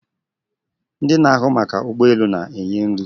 Ndị na-ahụ maka ụgbọ elu na-enye nri